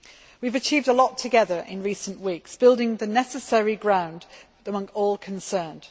We have achieved a lot together in recent weeks, building the necessary ground among all concerned.